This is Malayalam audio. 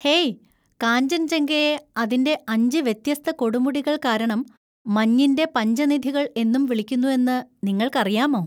ഹേയ്, കാഞ്ചൻജംഗയെ അതിന്‍റെ അഞ്ച് വ്യത്യസ്ത കൊടുമുടികൾ കാരണം 'മഞ്ഞിന്‍റെ പഞ്ചനിധികൾ' എന്നും വിളിക്കുന്നു എന്ന് നിങ്ങൾക്കറിയാമോ?